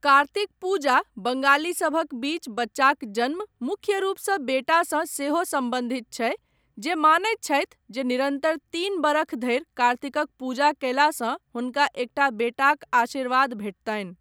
कार्तिक पूजा बंगालीसभक बीच बच्चाक जन्म, मुख्य रूपसँ बेटासँ सेहो सम्बन्धित छै, जे मानैत छथि जे निरन्तर तीन बरख धरि कार्तिकक पूजा कयलासँ हुनका एकटा बेटाक आशीर्वाद भेटतनि।